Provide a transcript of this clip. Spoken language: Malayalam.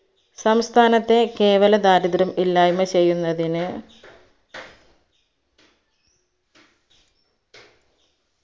സംസ്ഥാനത്തെ കേവല ദാരിദ്ര്യം ഇല്ലായ്മ ചെയ്യുന്നതിന്